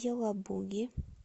елабуги